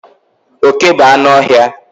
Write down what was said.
Oke bu anụ ọhịa